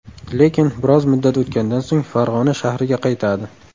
Lekin bir oz muddat o‘tgandan so‘ng Farg‘ona shahriga qaytadi.